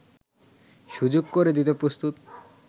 সুযোগ করে দিতে প্রস্তুত